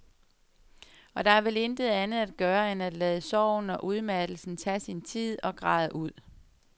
Og der er vel intet andet at gøre end at lade sorgen og udmattelsen tage sin tid og græde ud.